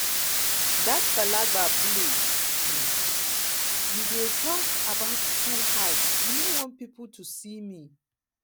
dat um place um you um dey talk about too high i know want people to see me